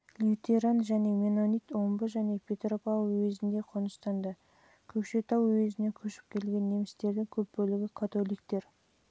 лютеран және меннонит омбы және петропавл уезінде қоныстанды көкшетау уезіне көшіп келген немістердің көп бөлігі католиктер